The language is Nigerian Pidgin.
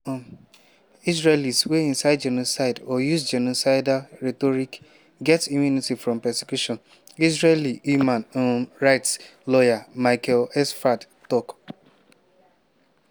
“israelis wey incite genocide or use genocidal rhetoric get immunity from prosecution” israeli human um rights lawyer michael sfard tok.